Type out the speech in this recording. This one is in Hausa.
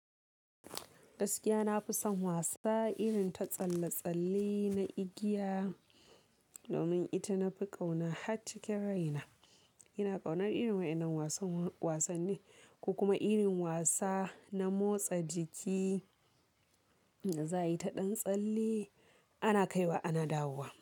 Gaskiya na fi son wasa irin ta tsalle-tsalle na igiya domin ita na fi kauna har cikin raina. Ina kaunar irin waɗannan wasanni ko kuma irin wasa na motsa jiki da za a yi ta ɗan tsalle ana kaiwa ana dawowa.